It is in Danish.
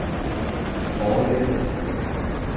forlaget